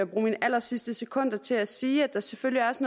bruge mine allersidste sekunder til at sige at der selvfølgelig også